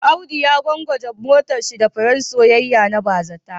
Audu ya gwangwaje matarshi da furen soyayya na bazata